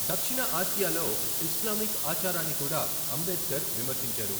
దక్షిణ ఆసియాలో ఇస్లామిక్ ఆచారాన్ని కూడా అంబేద్కర్ విమర్శించారు.